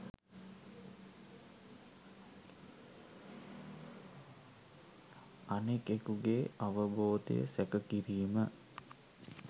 අනෙකෙකුගේ අවබෝධය සැක කිරීම